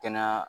Kɛnɛya